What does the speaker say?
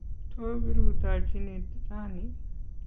To kiruitochini rauni?